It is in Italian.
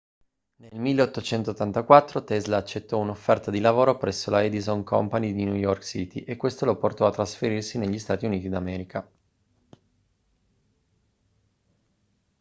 nel 1884 tesla accettò un'offerta di lavoro presso la edison company di new york city e questo lo portò a trasferirsi negli stati uniti d'america